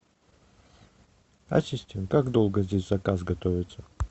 ассистент как долго здесь заказ готовится